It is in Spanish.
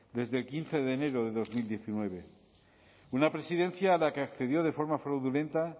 desde el quince de enero de dos mil diecinueve una presidencia a la que accedió de forma fraudulenta